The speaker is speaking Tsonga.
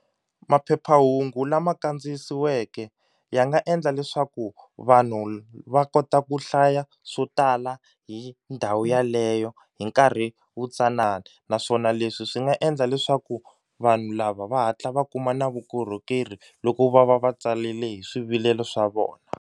Maphephahungu lama kandziyisiweke ya nga endla leswaku vanhu va kota ku hlaya swo tala hi ndhawu yaleyo hi nkarhi wu tsanana naswona leswi swi nga endla leswaku vanhu lava va hatla va kuma na vukorhokeri loko va va va tsalile hi swivilelo swa vona.